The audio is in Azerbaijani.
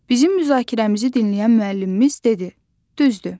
Bizim müzakirəmizi dinləyən müəllimimiz dedi: düzdür.